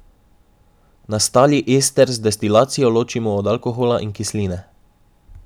Nastali ester z destilacijo ločimo od alkohola in kisline.